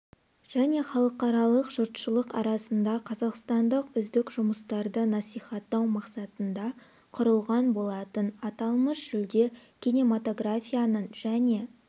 және халықаралық жұртшылық арасында қазақстандық үздік жұмыстарды насихаттау мақсатында құрылған болатын аталмыш жүлде кинематографияның және